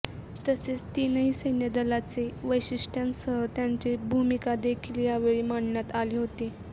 तसेच तीनही सैन्य दलाचे वैशिष्ट्यांसह त्यांची भूमिकादेखील यावेळी मांडण्यात आली होती